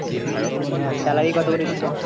হ্যাঁ salary কত করে দিচ্ছে?